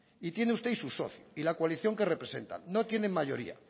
y tiene usted y su y la coalición que representan no tienen mayoría